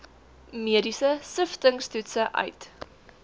mediese siftingstoetse uit